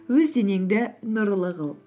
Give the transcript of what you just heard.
өз денеңді нұрлы қыл